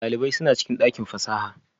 Dalibai suna cikin dakin fasaha?